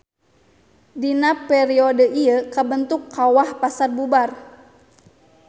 Dina periode ieu kabentuk Kawah Pasarbubar.